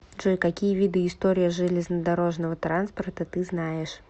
джой какие виды история железнодорожного транспорта ты знаешь